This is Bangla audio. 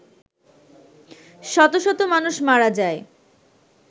শত শত মানুষ মারা যায়